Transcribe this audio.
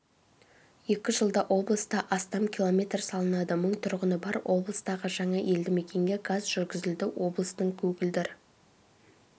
екі жылда облыста астам километр салынады мың тұрғыны бар облыстағы жаңа елдімекенге газ жүргізілді облыстың көгілдір